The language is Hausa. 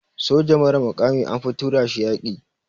Soja mara mukami anfi tura shi yaƙi.